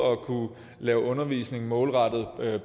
at kunne lave undervisning både målrettet